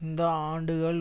இந்த ஆண்டுகள்